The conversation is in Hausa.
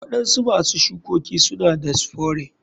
Waɗansu masu shukoki suna da spore.